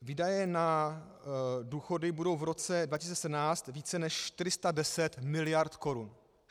Výdaje na důchody budou v roce 2017 více než 410 mld. korun.